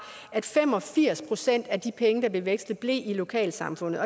at fem og firs procent af de penge der blev vekslet blev i lokalsamfundet